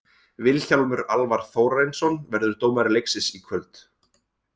Vilhjálmur Alvar Þórarinsson verður dómari leiksins í kvöld.